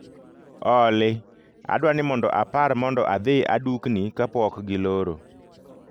Olly, adwani mondo apar mondo adhi adukni kapok giloro